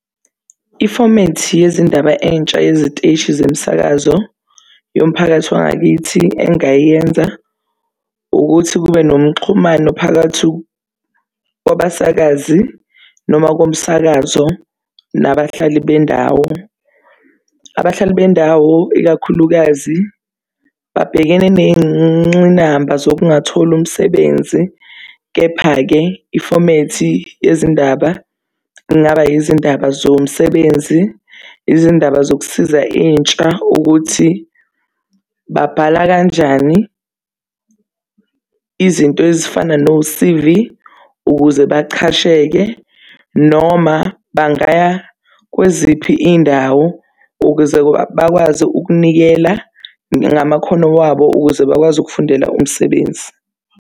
Ifomethi yezindaba entsha yeziteshi zemsakazo yomphakathi wangakithi engingayenza ukuthi kube nomxhumano phakathi kwabasakazi noma komsakazo, nabahlali bendawo. Abahlali bendawo, ikakhulukazi babhekene ney'nqinamba zokungatholi umsebenzi. Kepha-ke ifomethi yezindaba kungaba izindaba zomsebenzi, izindaba zokusiza intsha ukuthi babhala kanjani izinto ezifana no-C_V ukuze bachasheke. Noma bangaya kweziphi iy'ndawo ukuze bakwazi ukunikela ngamakhono wabo ukuze bakwazi ukufundela umsebenzi.